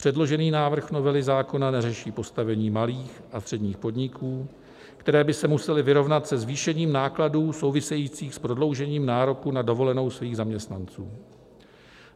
Předložený návrh novely zákona neřeší postavení malých a středních podniků, které by se musely vyrovnat se zvýšením nákladů souvisejících s prodloužením nároku na dovolenou svých zaměstnanců.